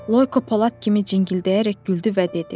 Loyko polad kimi cingildəyərək güldü və dedi: